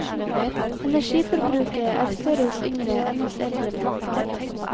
Energiforbruket er større hos yngre enn hos eldre mennesker.